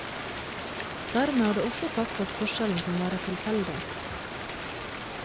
Dermed er det også sagt at forskjellen kan være tilfeldig.